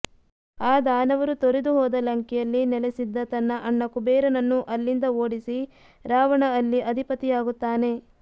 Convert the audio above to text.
ಆ ದಾನವರು ತೊರೆದು ಹೋದ ಲಂಕೆಯಲ್ಲಿ ನೆಲೆಸಿದ್ದ ತನ್ನ ಅಣ್ಣ ಕುಬೇರನನ್ನು ಅಲ್ಲಿಂದ ಓಡಿಸಿ ರಾವಣ ಅಲ್ಲಿ ಅಧಿಪತಿಯಾಗುತ್ತಾನೆ